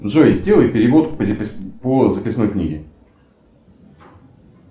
джой сделай перевод по записной книге